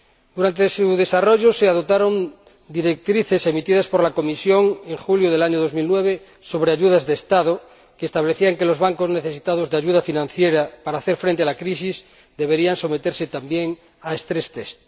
Durante su desarrollo se adoptaron directrices propuestas por la Comisión, en julio de 2009, sobre ayudas de Estado, que establecían que los bancos necesitados de ayuda financiera para hacer frente a la crisis deberían someterse también a pruebas de resistencia.